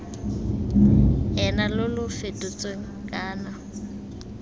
ena lo lo fetotsweng kana